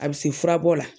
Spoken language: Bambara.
A bɛ se furabɔ la